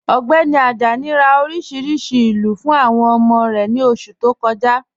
Ọgbẹni Ajani rá oríṣiríṣí ilú fún awọn ọmọ rẹ ni oṣù tó kọ̀ja..